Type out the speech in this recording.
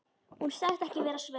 Hún sagðist ekki vera svöng.